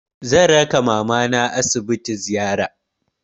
Zan raka mamana asibiti ziyara.